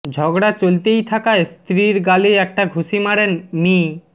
ঝগড়া চলতেই থাকায় স্ত্রীর গালে একটা ঘুষি মারেন মি